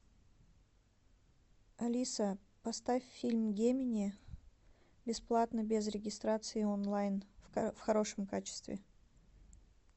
алиса поставь фильм гемини бесплатно без регистрации онлайн в хорошем качестве